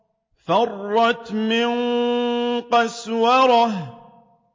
فَرَّتْ مِن قَسْوَرَةٍ